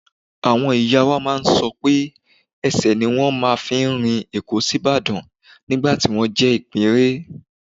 Àwọn ìyá máa ń sọ pé ẹsẹ̀ ni wọ́n fi máa ń rin Èkó sÍbàdàn nígbà tí wọ́n jẹ́ ìpẹ́ẹ́rẹ́